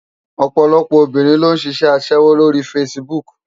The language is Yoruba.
Òpòlòpò óbirin ló n ṣiṣè aṣèwó ló ri fásibúk